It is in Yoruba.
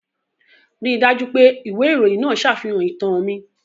Rí i dájú pé ìwé ìròyìn náà ṣàfihàn ìtàn mi.